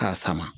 K'a sama